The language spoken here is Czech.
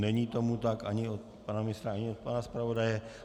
Není tomu tak ani od pana ministra, ani od pana zpravodaje.